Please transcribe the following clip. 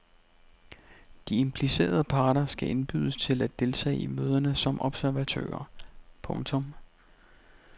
De implicerede parter skal indbydes til at deltage i møderne som observatører. punktum